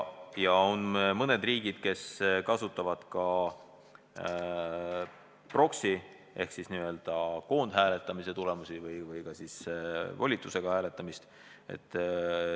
Ja on mõned riigid, kes kasutavad ka proxy- ehk siis volitusega hääletamist.